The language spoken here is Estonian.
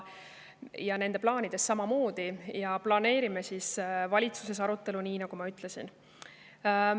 Ja me planeerime valitsuses arutelu, nii nagu ma ütlesin.